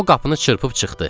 O qapını çırpıb çıxdı.